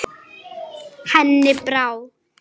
Henni brá.